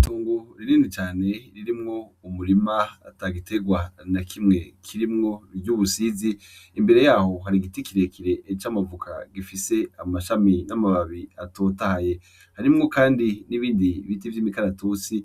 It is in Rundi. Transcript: Itongo ririni cane ririmwo umurima ata gitegwa na kimwe kirimwo ry'ubusizi imbere yaho hari igiti kirekire c' amavoka gifise amashami n'amababi atotahye harimwo, kandi n'ibindi biti vy' imikaratusi